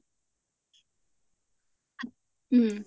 উম